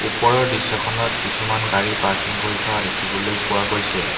ওপৰৰ দৃশ্যখনত কিছুমান গাড়ী পাৰ্কিং কৰি থোৱা দেখিবলৈ পোৱা গৈছে।